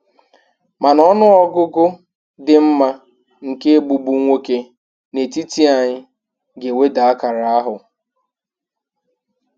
Mana ọnụ ọgụgụ dị mma nke 'Egbugbu' nwoke n'etiti anyị ga-eweda akara ahụ.